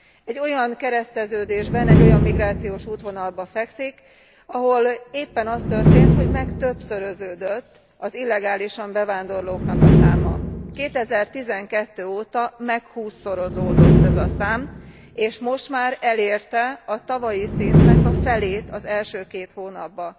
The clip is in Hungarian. Egy olyan kereszteződésben, egy olyan migrációs útvonalban fekszik, ahol éppen az történt, hogy megtöbbszöröződött az illegálisan bevándorlóknak a száma. 2012 óta meghússzorozódott ez a szám, és most már elérte a tavalyi szintnek a felét az első két hónapban.